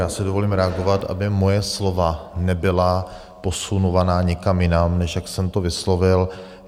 Já si dovolím reagovat, aby moje slova nebyla posunovaná někam jinam, než jak jsem to vyslovil.